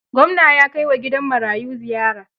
Gwamna ya kai wa gidan marayu ziyara.